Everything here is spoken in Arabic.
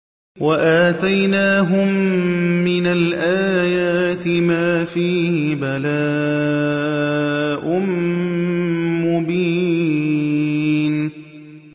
وَآتَيْنَاهُم مِّنَ الْآيَاتِ مَا فِيهِ بَلَاءٌ مُّبِينٌ